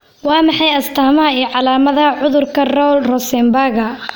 Waa maxay astamaha iyo calaamadaha cudurka Rowle Rosenbaga?